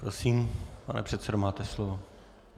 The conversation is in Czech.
Prosím, pane předsedo, máte slovo.